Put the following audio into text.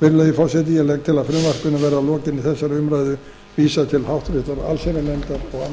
virðulegi forseti ég legg til að frumvarpinu verði að lokinni þessari umræðu vísað til háttvirtrar allsherjarnefndar og